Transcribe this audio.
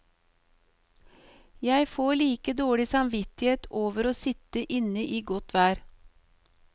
Jeg får like dårlig samvittighet over å sitte inne i godt vær.